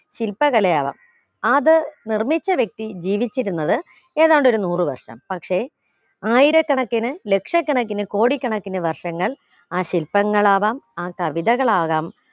ശില്പകലയാവാം അത് നിർമിച്ച വ്യക്തി ജീവിച്ചിരുന്നത് ഏതാണ്ട് ഒരു നൂറ് വർഷം പക്ഷെ ആയിരക്കണക്കിന് ലക്ഷ കണക്കിന് കോടിക്കണക്കിന് വർഷങ്ങൾ ആ ശില്പങ്ങളാകാം ആ കവിതകളാകാം